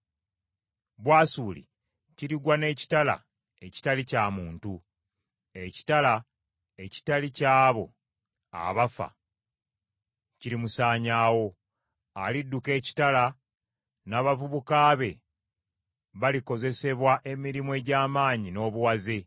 “Bwasuli kirigwa n’ekitala ekitali kya muntu; ekitala ekitali ky’abo abafa kirimusaanyaawo. Alidduka ekitala, n’abavubuka be balikozesebwa emirimu egy’amaanyi n’obuwaze.